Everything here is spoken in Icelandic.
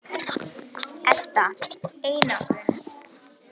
Edda: Einangrun?